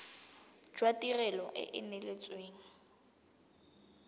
jwa tirelo e e neetsweng